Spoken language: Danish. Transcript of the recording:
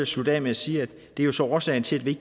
slutte af med at sige at det jo så er årsagen til at vi